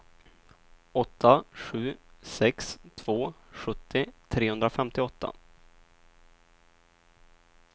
åtta sju sex två sjuttio trehundrafemtioåtta